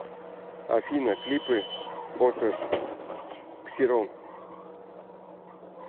афина клипы оташ ксирон